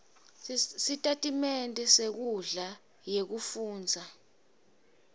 sitatimende senkhundla yekufundza